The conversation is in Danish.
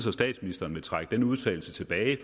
at statsministeren vil trække den udtalelse tilbage